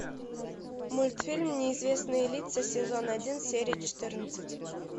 мультфильм неизвестные лица сезон один серия четырнадцать